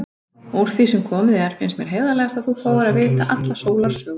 Úr því sem komið er finnst mér heiðarlegast að þú fáir að vita alla sólarsöguna.